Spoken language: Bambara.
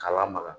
K'a lamaga